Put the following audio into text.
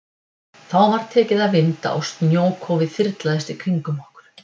Þá var tekið að vinda og snjókófið þyrlaðist í kringum okkur.